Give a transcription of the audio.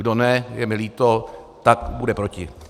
Kdo ne, je mi líto, tak bude proti.